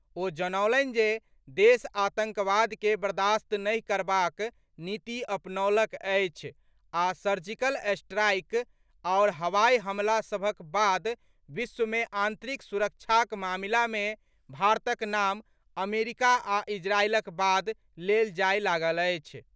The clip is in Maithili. ओ जनौलनि जे देश आतंकवाद के बर्दाश्त नहि करबाक नीति अपनौलक अछि आ सर्जिकल स्ट्राईक आओर हवाई हमला सभक बाद विश्व मे आतंरिक सुरक्षाक मामिला मे भारतक नाम अमरीका आ इजरायलक बाद लेल जाए लागल अछि।